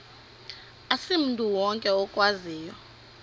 asimntu wonke okwaziyo